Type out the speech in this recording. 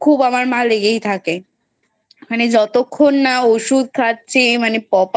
খুব আমার মায়ের লেগেই থাকে মানে যতক্ষণ না ঔষুধ খাচ্ছে মানে